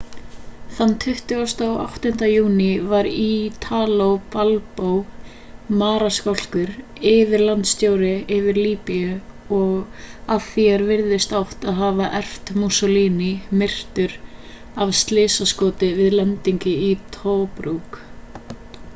þann 28. júní var italo balbo marskálkur yfirlandstjóri yfir líbíu og að því er virðist átt að hafa erft mussolini myrtur af slysaskoti við lendingu í tobruk